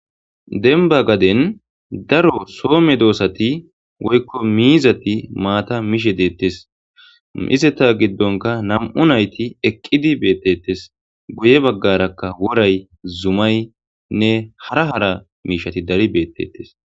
Denba gaden daro soome doossati woykko miizati maata mishe deettes mizeta giddonka nam7u nayti eqqidi beettettes guye baggarakka woray zumay nne hara hara miishati dari beettetes.